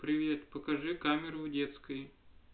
привет покажи камеру в детской